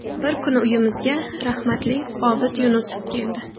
Bir kuni uyimizga rahmatli Obid Yunusov keldi.